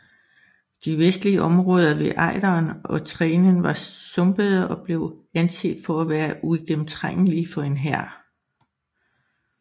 De vestlige områder ved Ejderen og Trenen var sumpede og blev anset for at være uigennemtrængelige for en hær